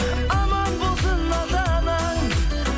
аман болсын ата анаң